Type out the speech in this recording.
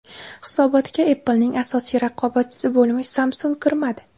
Hisobotga Apple’ning asosiy raqobatchisi bo‘lmish Samsung kirmadi.